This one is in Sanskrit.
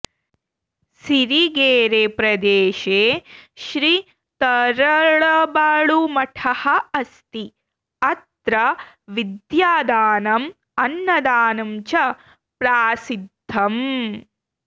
सिरिगेरेप्रदेशे श्री तरळबाळुमठः अस्ति अत्र विद्यादानं अन्नदानं च प्रासिद्धम्